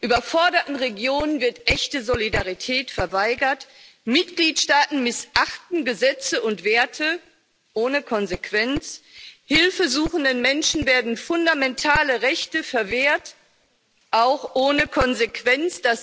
Überforderten Regionen wird echte Solidarität verweigert, Mitgliedsstaaten missachten Gesetze und Werte ohne Konsequenz, hilfesuchenden Menschen werden fundamentale Rechte verwehrt, auch ohne Konsequenz.